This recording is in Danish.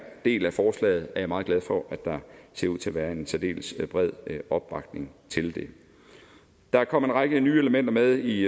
del af forslaget er jeg meget glad for at der ser ud til at være en særdeles bred opbakning til det der kom en række nye elementer med i